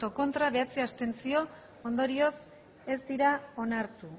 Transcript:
ez bederatzi abstentzio ondorioz ez dira onartu